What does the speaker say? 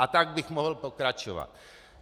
A tak bych mohl pokračovat.